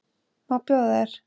Má bjóða þér?